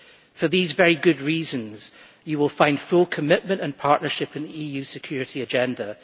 For these very good reasons you will find full commitment and partnership in the EU security agenda.